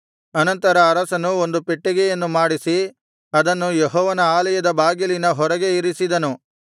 ಅನಂತರ ಅರಸನು ಒಂದು ಪೆಟ್ಟಿಗೆಯನ್ನು ಮಾಡಿಸಿ ಅದನ್ನು ಯೆಹೋವನ ಆಲಯದ ಬಾಗಿಲಿನ ಹೊರಗೆ ಇರಿಸಿದನು